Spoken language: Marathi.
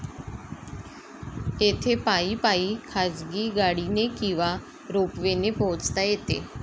येथे पायी पायी, खाजगी गाडीने किंवा रोपवेने पोहचता येते.